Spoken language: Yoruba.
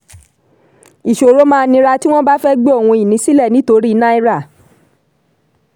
ìṣòro máa nira tí wọ́n bá fẹ́ gbé ohun-ìní sílẹ̀ nítorí náírà.